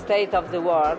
og